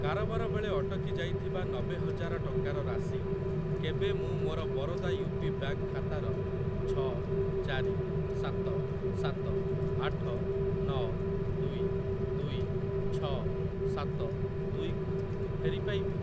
କାରବାର ବେଳେ ଅଟକି ଯାଇଥିବା ନବେ ହଜାର ଟଙ୍କାର ରାଶି କେବେ ମୁଁ ମୋର ବରୋଦା ୟୁ ପି ବ୍ୟାଙ୍କ୍‌ ଖାତାର ଛ ଚାରି ସାତ ସାତ ଆଠ ନ ଦୁଇ ଦୁଇ ଛ ସାତ ଦୁଇ କୁ ଫେରି ପାଇବି?